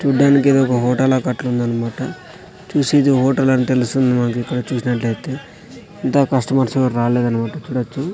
చూడ్డానికి ఇదొక హోటల్ లా కట్లుందనమాట చూసి ఇది హోటల్ అని తెలుస్తుంది మనకిక్కడ చూసినట్లయితే ఇంత కస్టమర్సేవరు రాలేదన్న మాట ఇక్కడ చూ--